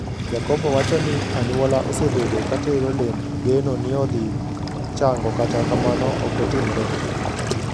Yakobo wachoni anyuola osebedo katero lemb geno niodhii chango kata kamano okotimre.